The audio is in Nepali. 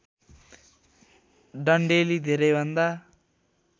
डन्डेलिले धेरै भन्दा